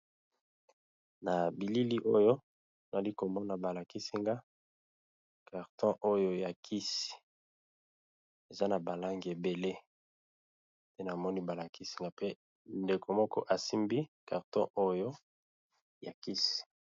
Na bilili oyo nazalikomona balakisinga carton oyo ya kisi eza na balangi ebele pe ndeko moko asimbi yango na loboko.